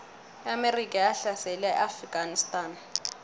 iamerika yahlasela iafganistan